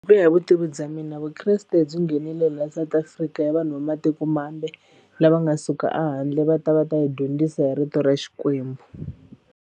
Ku ya hi vutivi bya mina vukreste byi nghenile la South Africa ya vanhu va matikomambe lava nga suka a handle va ta va ta hi dyondzisa hi rito ra Xikwembu.